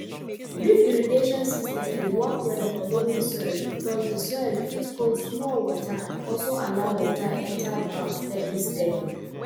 drip irrigation system dey work well for loamy soil because di soil fit hold small water and also allow water enter ground steady steady